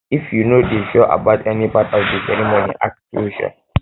if you no dey sure about any part of di ceremony ask di ceremony ask questions um